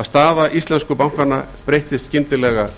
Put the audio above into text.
að staða íslensku bankanna breyttist skyndilega